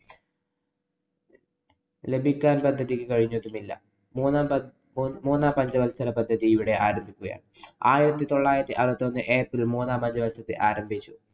ലഭിക്കാന്‍ പദ്ധതിക്ക് കഴിഞ്ഞതുമില്ല. മൂന്നാം പദ്ധ~ മൂന്നാം പഞ്ചവത്സരപദ്ധതി ഇവിടെ ആരംഭിക്കുകയാണ്. ആയിരത്തി തൊള്ളായിരത്തി അറുപത്തിയൊന്ന് april മൂന്നാം പഞ്ചവത്സരപദ്ധതി ആരംഭിച്ചു.